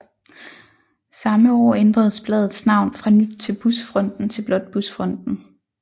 Samme år ændredes bladets navn fra Nyt fra Busfronten til blot Busfronten